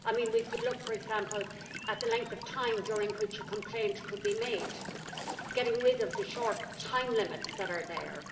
We could look, for example, at the length of time during which a complaint could be made, getting rid of the short time limits that are there.